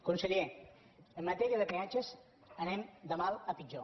conseller en matèria de peatges anem de mal a pitjor